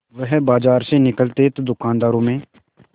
वह बाजार में निकलते तो दूकानदारों में